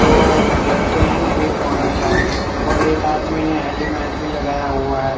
दो लड़के हैं एक औरत है और एक आदमी ने हेलीमेट भी लगाया हुआ है।